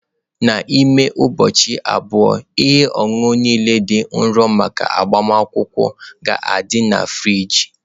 N'ime ụbọchị abụọ, ihe ọṅụṅụ niile dị nro maka agbamakwụkwọ ga-adị na friji.